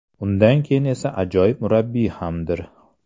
Undan keyin esa ajoyib murabbiy hamdir.